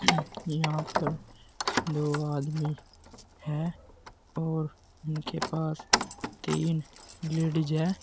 यहां पर दो आदमी हैं और उनके पास तीन लेडिस हैं।